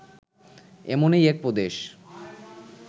এমনই এক প্রদেশ